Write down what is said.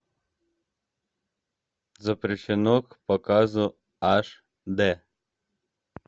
запрещено к показу аш д